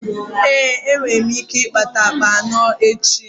Ee, enwe m ike ịkpata akpa anọ echi.